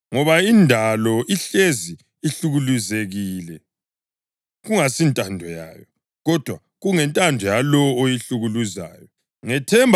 Ngoba indalo ihlezi ihlukuluzekile, kungasintando yayo, kodwa kungentando yalowo oyihlukuluzayo, ngethemba